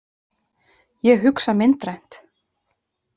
Ég hugsa myndrænt.